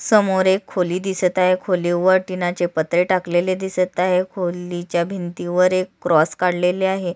समोर एक खोली दिसत आहे खोलीवर टिनाचे पत्रे टाकलेले दिसत आहे खोलीच्या भिंतीवर एक क्रॉस काढलेले आहे.